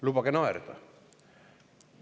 Lubage naerda!